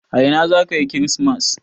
A ina za ka yi kirismas?